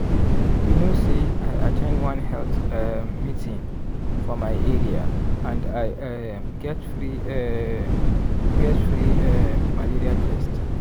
you know say i at ten d one health um meeting for my area and i um get free um get free um malaria test.